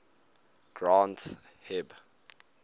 granth hib